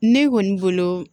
Ne kɔni bolo